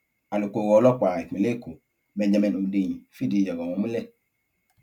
alukoro ọlọpàá ìpínlẹ èkó benjamin hundeyin fìdí ọrọ ọhún múlẹ